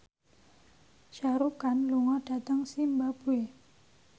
Shah Rukh Khan lunga dhateng zimbabwe